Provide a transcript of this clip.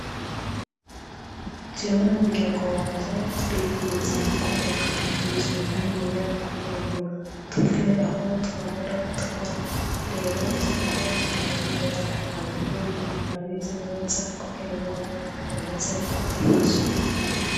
Jewe n'umuryango wanje turifuza kubaka inzu niniya kugirango tuve aho twahora tuba rero turiko turarondera abafundi babizi neza kugirango baze kudufasha.